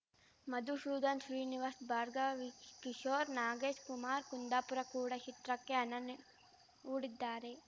ಮಧುಶೂದನ್‌ ಶ್ರೀನಿವಾಶ್ ಭಾರ್ಗವಿಕಿಶೋರ್ ನಾಗೇಶ್‌ ಕುಮಾರ್‌ ಕುಂದಾಪುರ ಕೂಡ ಶಿತ್ರಕ್ಕೆ ಅನ್ನನ್ನೆ ಹಣ ಹೂಡಿದ್ದಾರೆ